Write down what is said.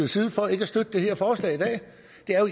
side for ikke at støtte det her forslag i dag